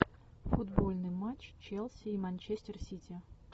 футбольный матч челси и манчестер сити